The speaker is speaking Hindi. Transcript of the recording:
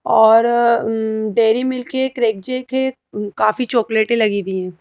औरउम्डेरी मिल्क है क्रेक जेक है काफी चॉकलेट लगी हुई हैं।